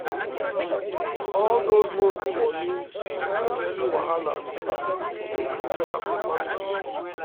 all those monthly money and yearly wahala e dey quick gather for families